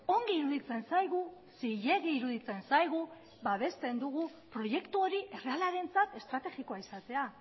ongi iruditzen zaigu zilegi iruditzen zaigu babesten dugu proiektu hori errealarentzat estrategikoa izatea